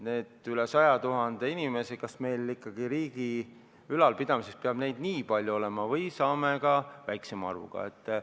Üle 100 000 inimese – kas meil ikkagi riigi ülalpidamiseks peab neid nii palju olema või saaksime hakkama ka väiksema arvuga?